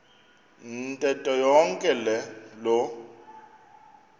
ntetho yonke loo